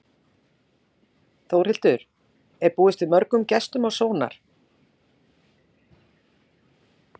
Þórhildur, er búist við mörgum gestum á Sónar?